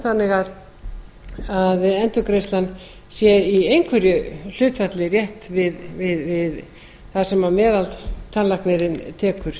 þannig að endurgreiðslan sé í einhverju hlutfalli rétt við það sem meðaltannlæknirinn tekur